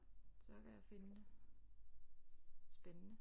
Så kan jeg finde det spændende